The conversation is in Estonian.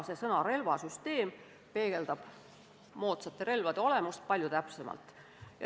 Sõna "relvasüsteem" peegeldab moodsate relvade olemust palju täpsemalt.